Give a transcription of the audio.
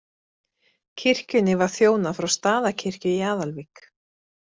Kirkjunni var þjónað frá Staðarkirkju í Aðalvík.